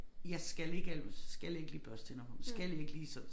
Jeg skal ikke alt skal ikke lige børste tænder på dem skal ikke lige så